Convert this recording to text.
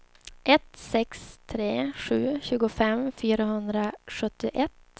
ett sex tre sju tjugofem fyrahundrasjuttioett